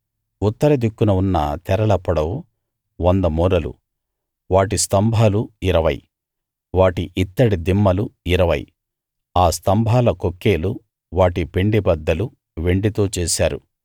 ఉత్తర దిక్కున ఉన్న తెరల పొడవు 100 మూరలు వాటి స్తంభాలు ఇరవై వాటి ఇత్తడి దిమ్మలు ఇరవై ఆ స్తంభాల కొక్కేలు వాటి పెండెబద్దలు వెండితో చేశారు